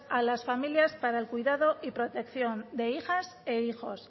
a las familias para el cuidado y protección de hijas e hijos